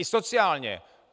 I sociálně.